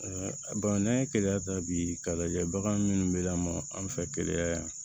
n'an ye keleya ta bi k'a lajɛ bagan minnu be lamɔ an fɛ keleya yan